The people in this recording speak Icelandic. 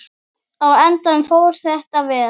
Á endanum fór þetta vel.